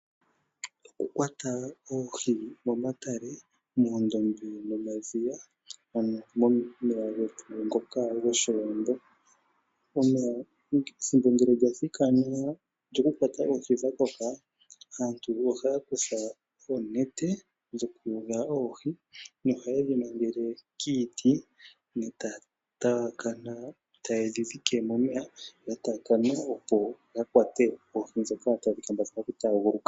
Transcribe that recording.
Oku kwata oohi momatale, moondombe nomadhiya momeya getu ngoka goshiwambo. Ethimbo ngele lya thikana lyoku kwata oohi dhakoka aantu ohaya kutha oonete dho kuyula oohi noha yedhi mangele kiiti ta yedhi dhike momeya dhataakana opo ya kwate oohi dhoka tadhi vulu oku taaguluka.